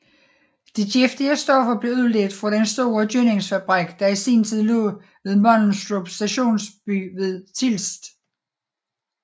De giftige stoffer blev udledt fra den store gødningsfabrik der i sin tid lå ved Mundelstrup Stationsby ved Tilst